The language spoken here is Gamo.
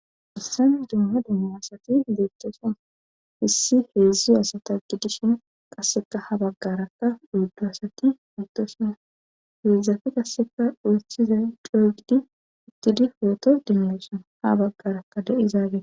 issan dumma demme asati deeththosan hissi heedzdzu asata gidishin qasseka ha baggarakka uuddu asati mitosuna heedzdzafi qasseka duuthiza doogidi ittidi peeto demmeoson ha baggarakka de7izaage